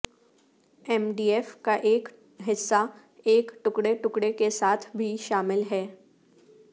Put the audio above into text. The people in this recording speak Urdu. ایم ڈی ایف کا ایک حصہ ایک ٹکڑے ٹکڑے کے ساتھ بھی شامل ہے